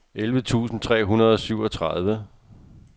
elleve tusind tre hundrede og syvogtredive